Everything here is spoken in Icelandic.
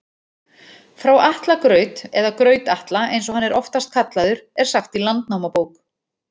Frá Atla graut, eða Graut-Atla eins og hann er oftast kallaður, er sagt í Landnámabók.